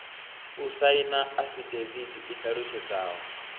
u saina afidavithi i ṱalutshedzaho